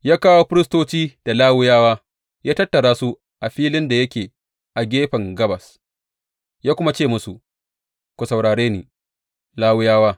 Ya kawo firistoci da Lawiyawa, ya tattara su a filin da yake a gefen gabas ya kuma ce musu, Ku saurare ni, Lawiyawa!